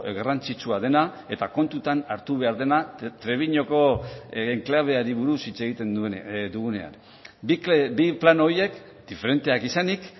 garrantzitsua dena eta kontutan hartu behar dena trebiñoko enklabeari buruz hitz egiten dugunean bi plano horiek diferenteak izanik